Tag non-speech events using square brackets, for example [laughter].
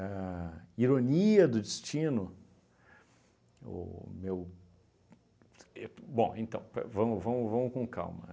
A ironia do destino... O meu [unintelligible] e bom, então, pe vamos vamos vamos com calma.